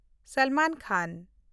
ᱥᱟᱞᱢᱟᱱ ᱠᱷᱟᱱ